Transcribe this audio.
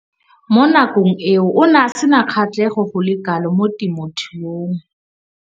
Mo nakong eo o ne a sena kgatlhego go le kalo mo temothuong.